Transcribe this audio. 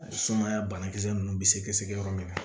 Sumaya banakisɛ ninnu bɛ sɛgɛsɛgɛ yɔrɔ min na